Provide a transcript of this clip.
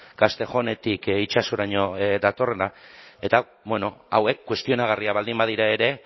castejónetik itsasoraino datorrena eta bueno hauek kuestionagarriak baldin badira ere